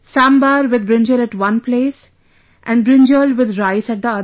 Sambhar with brinjal at one place and brinjal with rice at the other